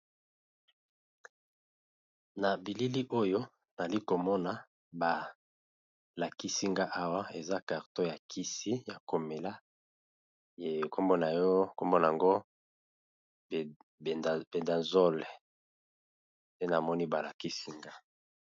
Na bilili oyo nali komona balakisinga awa eza karton ya kisi ya komela nkombona ango pedazole te namoni balakisinga.